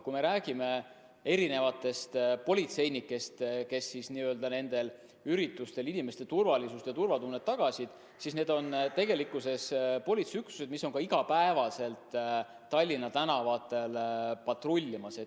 Kui me räägime politseinikest, kes nendel üritustel inimeste turvalisust tagasid, siis need on politseiüksused, mis on iga päev Tallinna tänavatel patrullimas.